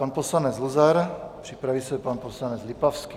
Pan poslanec Luzar, připraví se pan poslanec Lipavský.